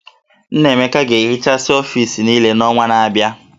Nnaemeka ga-ehichasị ọfis niile n'ọnwa na-abịa